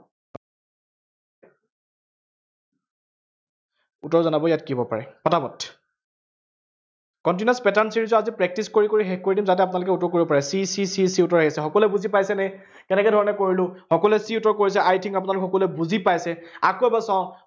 উত্তৰ জনাব ইয়াত কি হব পাৰে। পটাপট continuous pattern series ৰ আজি practise কৰি কৰি শেষ কৰি দিম, যাতে আপোনালোকে উত্তৰটো কৰিব পাৰে। c c c c উত্তৰ আহি আছে। সকলোৱে বুজি পাইছেনে, কেনকে ধৰণে কৰিলো, সকলোৱে c উত্তৰ কৰিছে I think আপোনালোক সকলোৱে বুজি পাইছে। আকৈ এবাৰ চাওঁ,